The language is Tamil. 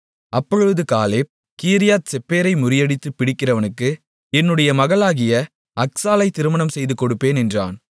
அப்பொழுது காலேப் கீரியாத்செப்பேரை முறியடித்துப் பிடிக்கிறவனுக்கு என்னுடைய மகளாகிய அக்சாளைத் திருமணம் செய்துகொடுப்பேன் என்றான்